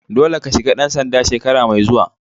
Dolle ka shiga dan sanda shekara mai zuwa!